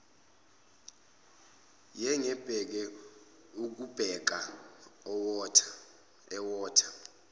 yengebhe ubukeka ewotha